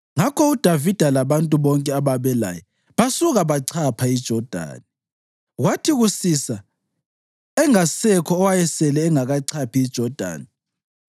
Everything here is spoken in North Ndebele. Ngakho uDavida labantu bonke ababelaye basuka bachapha iJodani. Kwathi kusisa, engasekho owayesele engakachaphi iJodani.